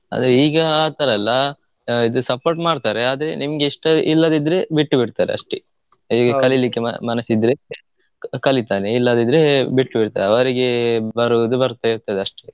ಆದ್ರೆ ಈಗ ಆಥರ ಅಲ್ಲಆಹ್ ಇದು support ಮಾಡ್ತರೆ ಅದ್ರೆ ನಿಮ್ಗಿಷ್ಟ ಇಲ್ಲದಿದ್ರೆ ಬಿಟ್ಟು ಬಿಡ್ತರಷ್ಟೆ. ಕಲಿಲಿಕ್ಕೆ ಮನಸಿದ್ರೆ ಕಲಿತರೆ ಇಲ್ಲದಿದ್ರೆ ಬಿಟ್ಬಿಡ್ತರೆ ಅವ್ರಿಗೆ ಬರುವುದು ಬರ್ತ ಇರ್ತದಷ್ಟೆ.